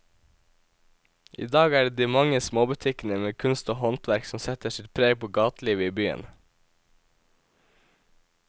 I dag er det de mange små butikkene med kunst og håndverk som setter sitt preg på gatelivet i byen.